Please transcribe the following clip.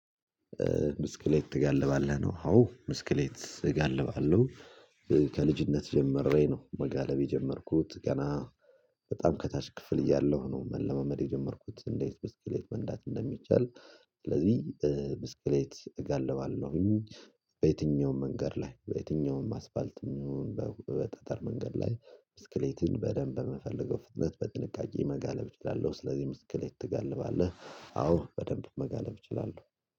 ብስክሌት ትጋልባለህ? ነው አዎ ብስክሌት እጋልባለሁ ከልጅነት ጀመሬ ነው መጋለብ የጀመርኩት። ገና በጣም ከታች ክፍል እያለሁ ነው መለማመድ የጀመርኩት። እንዴት ብስክሌት መንዳት እንደሚቻል? ስለዚህ ብስክሌት እጋልባለሁኝ። በየትኛውም መንገድ ላይ በየትኛውም አስፋልት የሚሆን በጠጠር መንገድ ላይ ብስክሌትን በደንብ በምፈለገው ፍጥነት በጥንቃቄ መጋለብ እችላለሁ። ስለዚህ ብስክሌት ትገልባለህ? አዎ በደንብ መጋለብ እችላለሁ።